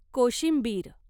कोशिंबीर